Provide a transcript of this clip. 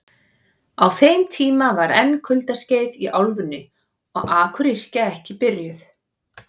Á þeim tíma var enn kuldaskeið í álfunni og akuryrkja ekki byrjuð.